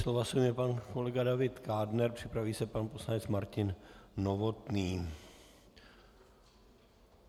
Slova se ujme pan kolega David Kádner, připraví se pan poslanec Martin Novotný.